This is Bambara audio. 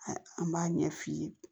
An b'a ɲɛ f'i ye